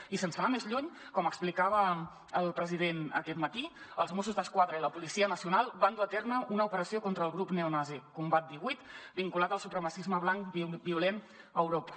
i sense anar més lluny com explicava el president aquest matí els mossos d’esquadra i la policia nacional van dur a terme una operació contra el grup neonazi combat divuit vinculat al supremacisme blanc violent a europa